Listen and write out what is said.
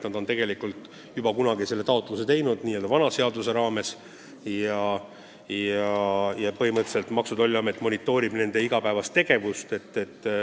Nad on selle juba kunagi esitanud ja põhimõtteliselt Maksu- ja Tolliamet monitoorib nende igapäevast tegevust.